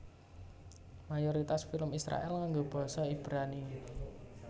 Mayoritas film Israèl nganggo basa Ibrani